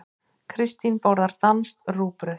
Kristín borðar danskt rúgbrauð.